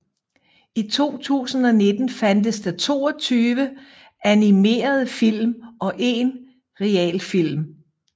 I år 2019 fandtes der 22 animerede film og en realfilm